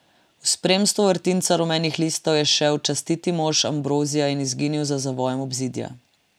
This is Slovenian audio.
V spremstvu vrtinca rumenih listov je šel častiti mimo Ambrozija in izginil za zavojem obzidja.